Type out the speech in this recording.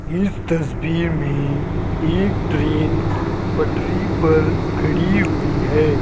इस तस्वीर में एक ट्रेन पटरी पर खड़ी हुई है।